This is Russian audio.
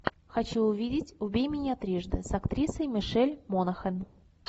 хочу увидеть убей меня трижды с актрисой мишель монахэн